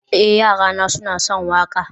eh, yarana suna son waƙa